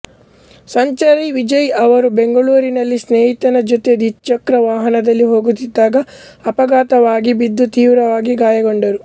ಸಂಚಾರಿ ವಿಜಯ್ ಅವರು ಬೆಂಗಳೂರಿನಲ್ಲಿ ಸ್ನೇಹಿತನ ಜೊತೆ ದ್ವಿಚಕ್ರವಾಹನದಲ್ಲಿ ಹೋಗುತ್ತಿದ್ದಾಗ ಅಪಘಾತವಾಗಿ ಬಿದ್ದು ತೀವ್ರವಾಗಿ ಗಾಯಗೊಂಡರು